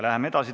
Läheme edasi.